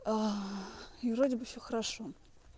и вроде бы всё хорошо